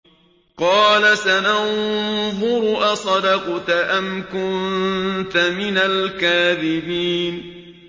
۞ قَالَ سَنَنظُرُ أَصَدَقْتَ أَمْ كُنتَ مِنَ الْكَاذِبِينَ